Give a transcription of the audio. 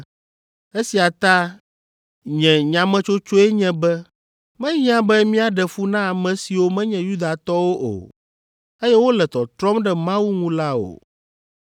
“Esia ta nye nyametsotsoe nye be mehiã be míaɖe fu na ame siwo menye Yudatɔwo o, eye wole tɔtrɔm ɖe Mawu ŋu la o.